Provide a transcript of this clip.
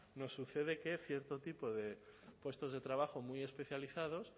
nos sucede que cierto tipo de puestos de trabajo muy especializados